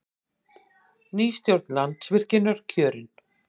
Ný stjórn Landsvirkjunar kjörin